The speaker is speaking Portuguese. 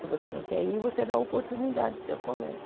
Se você não quer ir, você dá oportunidade para o seu colega.